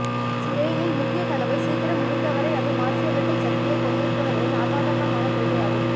ஸ்பெயினின் முக்கிய கனவு சீக்கிரம் முடிந்தவரை அதை மாற்றியமைக்கும் சக்தியைக் கொண்டிருப்பவர்களின் அசாதாரணமான கொள்கையாகும்